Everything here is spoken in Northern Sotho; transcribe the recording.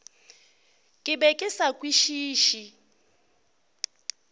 ke be ke sa kwešiše